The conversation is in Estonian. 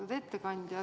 Austatud ettekandja!